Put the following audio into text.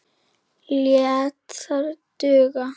Lét það duga.